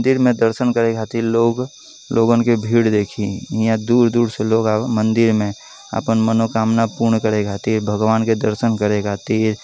दिर मे दर्शन करे खातिर लोग लोगोन क भीड़ देखी। इहाँ दूर दूर मदिर में। आपन मनोकामना पूर्ण करे खातिर। भगवान के दर्शन करे खातिर।